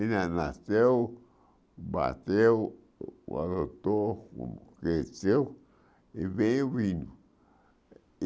Ele na nasceu, bateu, o adotou, o cresceu e veio vindo.